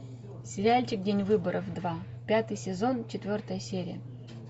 сериальчик день выборов два пятый сезон четвертая серия